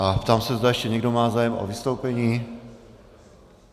A ptám se, zda ještě někdo má zájem o vystoupení.